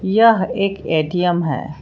यह एक ए_टी_एम है।